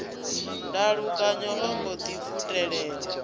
ndalukanyo o mbo ḓi futelela